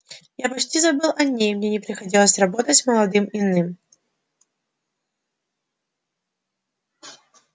я почти забыл о ней мне не приходилось работать с молодым иным